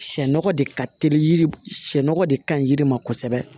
Sɛ nɔgɔ de ka teli yiri sɛŋɛ de kaɲi yiri ma kosɛbɛ